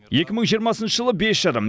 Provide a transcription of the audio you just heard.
екі мың жиырмасыншы жылы бес жарым